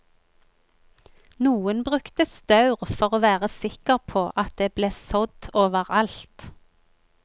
Noen brukte staur for å være sikker på at det ble sådd over alt.